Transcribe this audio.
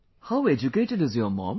How educated is your mom